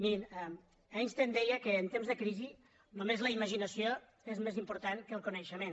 mirin einstein deia que en temps de crisi només la imaginació és més important que el coneixement